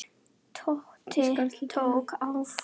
Tóti tók andköf.